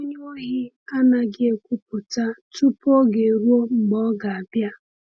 onye Ohi anaghị ekwupụta tupu oge eruo mgbe ọ ga-abịa.